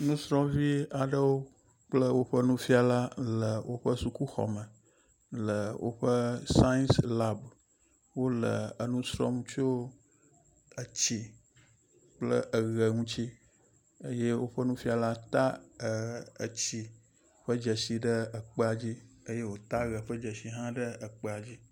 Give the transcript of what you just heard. Nusrɔ̃vi aɖewo kple woƒe nufiala le sukuxɔ me le woƒe sayis lab. Wole enu srɔ̃m tso etsi kple eʋe ŋuti. Ke woƒe nufiala ta etsi ƒe dzesi ɖe ekpea dzi eye wòta eʋe hã ƒe dzesi ɖe ekpea dzi.